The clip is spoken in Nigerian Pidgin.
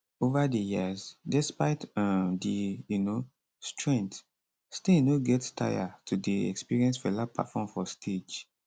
ova di years despite um di um strength stein no get taya to dey experience fela perform for stage